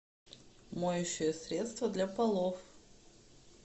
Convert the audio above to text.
моющее средство для полов